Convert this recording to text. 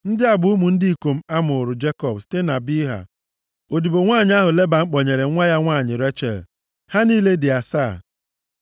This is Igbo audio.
Ndị a bụ ụmụ ndị ikom a mụụrụ Jekọb site na Bilha, odibo nwanyị ahụ Leban kpọnyere nwa ya nwanyị Rechel. Ha niile dị asaa.